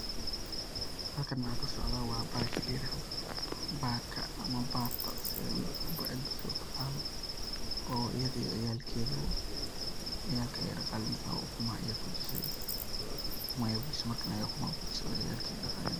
Wa bahasha layirahdo bata ama bato cidba sidhey utaqana oo iyadha iyo ciyalkedha oo ciyalka ayey daqaleneysa oo ukumaha ayey fujise oo markan ayey fujise